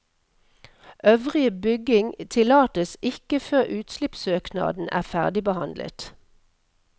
Øvrige bygging tillates ikke før utslippssøknaden er ferdigbehandlet.